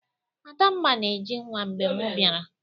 Adamma na-eji nwa mgbe mụ biara